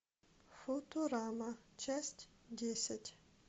футурама часть десять